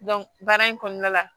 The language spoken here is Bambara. baara in kɔnɔna la